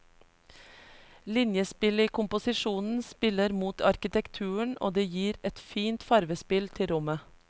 Linjespillet i komposisjonen spiller mot arkitekturen og det gir et fint farvespill til rommet.